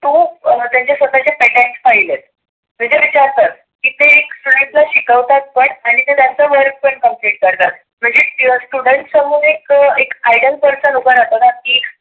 त्यांच्या स्वतःच्य petent file आहेत म्हणजे विचार कर एक ना एक क्षन शिकवतात पण आणि ते त्यांच work पण complete करतात. लगेच समोर एक idol उभा राहतोना.